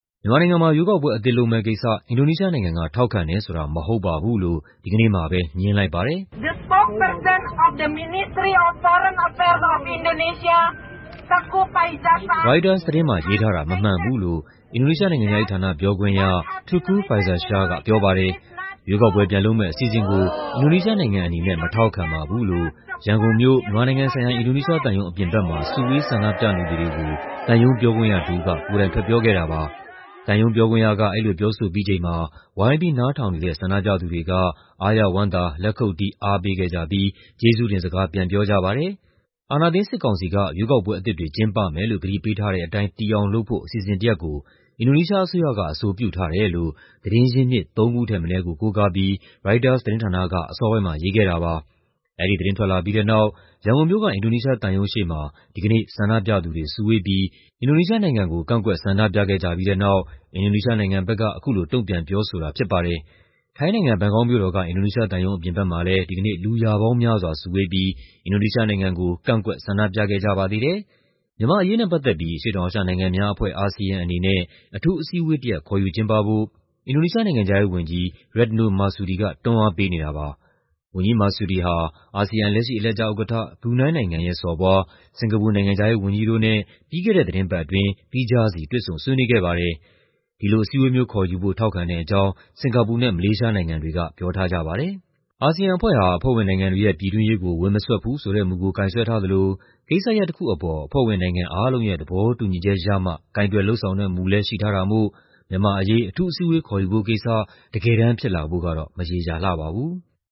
မြန်မာနိုင်ငံမှာ ရွေးကောက်ပွဲအသစ် လုပ်မယ့်ကိစ္စ အင်ဒိုနီးရှားနိုင်ငံက ထောက်ခံတယ်ဆိုတာ မဟုတ်ပါဘူးလို့ ဒီကနေ့မှာပဲ ငြင်းလိုက်ပါတယ်။ ရိုက်တာသတင်းမှာ ရေးထားတာ မမှန်ဘူးလို့ အင်ဒိုနီးရှားနိုင်ငံခြားရေးဌာန ပြောခွင့်ရ Teuku Faizasyah ကပြောပါတယ်။ "ရွေးကောက်ပွဲ ပြန်လုပ်မယ့်အစီအစဉ်ကို အင်ဒိုနီးရှားနိုင်ငံအနေနဲ့ မထောက်ခံပါဘူး။" လို့ ရန်ကုန်မြို့၊ မြန်မာနိုင်ငံဆိုင်ရာ အင်ဒိုနီးရှားသံရုံးအပြင်ဘက်မှာ စုဝေးဆန္ဒပြနေသူတွေကို သံရုံးပြောခွင့်ရတစ်ဦးက ကိုယ်တိုင်ထွက်ပြောခဲ့တာပါ။ သံရုံးပြောခွင့်ရက အဲဒီလိုပြောဆိုပြီးချိန်မှာ ဝိုင်းပြီးနားထောင်နေတဲ့ ဆန္ဒပြသူတွေက အားရဝမ်းသာ လက်ခုပ်တီး အားပေးခဲ့ကြပြီး ကျေးဇူးတင်စကား ပြန်ပြောကြပါတယ်။ အာဏာသိမ်း စစ်ကောင်စီက ရွေးကောက်ပွဲအသစ်တွေ ကျင်းပမယ်လို့ ကတိပေးထားတဲ့အတိုင်း တည်အောင်လုပ်ဖို့ အစီအစဉ်တစ်ရပ်ကို အင်ဒိုနီးရှားအစိုးရက အဆိုပြုထားတယ်လို့ သတင်းရင်းမြစ် သုံးခုထက်မနည်းကို ကိုးကားပြီး ရိုက်တာသတင်းဌာနက အစောပိုင်းမှာ ရေးခဲ့တာပါ။ အဲဒီသတင်း ထွက်လာပြီးတဲ့နောက် ရန်ကုန်မြို့က အင်ဒိုနီးရှားသံရုံးရှေ့မှာ ဒီကနေ့ ဆန္ဒပြသူတွေစုဝေးပြီး အင်ဒိုနီးရှားနိုင်ငံကို ကန့်ကွက် ဆန္ဒပြခဲ့ကြပြီးတဲ့နောက် အင်ဒိုနီးရှားနိုင်ငံဘက်က အခုလို တုံ့ပြန်ပြောဆိုတာဖြစ်ပါတယ်။ ထိုင်းနိုင်ငံ၊ ဘန်ကောက်မြို့တော်က အင်ဒိုနီးရှားသံရုံးအပြင်ဘက်မှာလည်း ဒီကနေ့ လူရာပေါင်းများစွာစုဝေးပြီး အင်ဒိုနီးရှားနိုင်ငံကို ကန့်ကွက် ဆန္ဒပြခဲ့ကြပါသေးတယ်။ မြန်မာ့အရေးနဲ့ပတ်သက်ပြီး အရှေ့တောင်အာရှနိုင်ငံများအဖွဲ့ (ASEAN) အနေနဲ့ အထူးအစည်းအဝေးတရပ် ခေါ်ယူကျင်းပဖို့ အင်ဒိုနီးရှားနိုင်ငံခြားရေးဝန်ကြီး Retno Marsudi က တွန်းအားပေးနေပါတယ်။ ဝန်ကြီး Marsudi ဟာ အာဆီယံ လက်ရှိအလှည့်ကျဥက္ကဋ္ဌ ဘရူနိုင်းနိုင်ငံရဲ့ စော်ဘွား၊ စင်္ကာပူနိုင်ငံခြားရေးဝန်ကြီးတို့နဲ့ ပြီးခဲ့တဲ့သီတင်းပတ်အတွင်း သီးခြားစီ တွေ့ဆုံဆွေးနွေးခဲ့ပါတယ်။ ဒီလိုအစည်းအဝေးမျိုးခေါ်ယူဖို့ ထောက်ခဲ့တဲ့အကြောင်း စင်္ကာပူနဲ့ မလေးရှားနိုင်ငံတွေက ပြောထားကြပါတယ်။ အာဆီယံအဖွဲ့ဟာ အဖွဲ့ဝင်နိုင်ငံတွေရဲ့ ပြည်တွင်းရေးကို ဝင်မစွက်ဘူးဆိုတဲ့မူကို ကိုင်စွဲထားသလို ကိစ္စရပ်တစ်ခုအပေါ် အဖွဲ့ဝင်နိုင်ငံအားလုံးရဲ့ သဘောတူညီချက်ရမှ ကိုင်တွယ်လုပ်ဆောင်တဲ့မူလည်း ရှိထားတာမို့ မြန်မာ့အရေး အထူးအစည်းအဝေး ခေါ်ယူဖို့ကိစ္စ တကယ်တမ်းဖြစ်လာဖို့ကတော့ မရေရာလှပါဘူး။